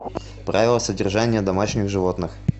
правила содержания домашних животных